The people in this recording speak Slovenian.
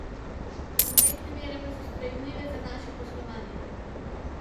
Obrestne mere pa so sprejemljive za naše poslovanje.